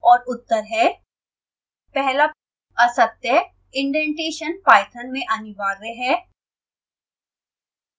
और उत्तर हैं